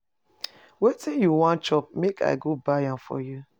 Wetin you wan chop make I go buy am for you.